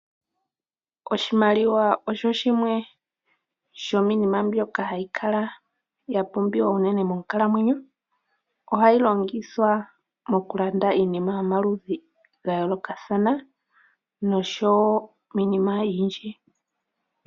Oshimaliwa osho shimwe sho miinima mbyoka hayi kala ya pumbiwa unene monkalamweno, ohayi longithwa mokulanda iinima yomaludhi ga yoolokathana noshowo miinima oyindji.